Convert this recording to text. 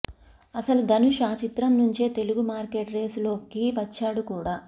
అసలు ధనుష్ ఆ చిత్రం నుంచే తెలుగు మార్కెట్ రేసులోకి వచ్చాడు కూడా